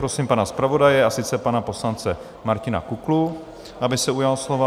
Prosím pana zpravodaje, a sice pana poslance Martina Kuklu, aby se ujal slova.